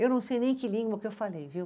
Eu não sei nem que língua que eu falei, viu?